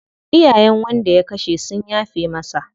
Iyayen wanda ya kashe sun yafe masa.